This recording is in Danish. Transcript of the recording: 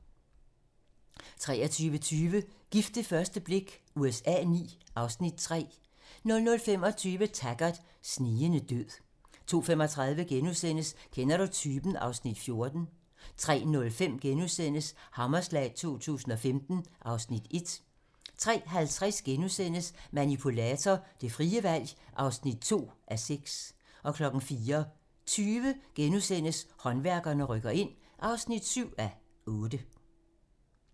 23:20: Gift ved første blik USA IX (Afs. 3) 00:25: Taggart: Snigende død 02:35: Kender du typen? (Afs. 14)* 03:05: Hammerslag 2015 (Afs. 1)* 03:50: Manipulator - det frie valg (2:6)* 04:20: Håndværkerne rykker ind (7:8)*